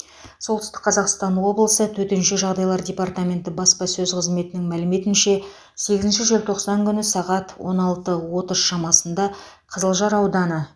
солтүстік қазақстан облысы төтенше жағдайлар департаменті баспасөз қызметінің мәліметінше сегізінші желтоқсан күні сағат он алты отыз шамасында қызылжар ауданы